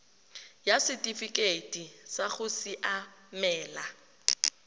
ya setifikeite sa go siamela